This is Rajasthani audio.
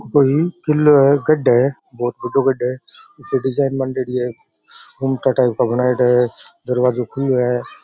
वही किल्लो है गढ़ है बहुत बड़ो गढ़ है डिज़ाइन सो बांडेडी है दरवाज़ा खुलो है।